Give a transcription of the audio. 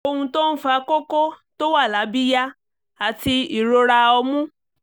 ohun tó ń fa kókó tó wà lábíyá àti ìrora ọmú